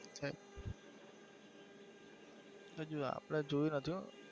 હજુ આપડે જોયું નથી હો.